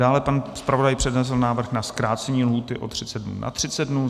Dále pan zpravodaj přednesl návrh na zkrácení lhůty o 30 dnů na 30 dnů.